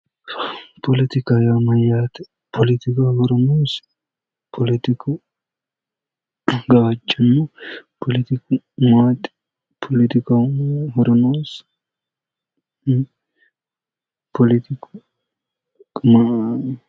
Poletika yaa mayyaate? poletikaho horo noosi? polotiku gawajjanno. polotiku maati? polotikaho horo noosi? poloyiku maa aanno?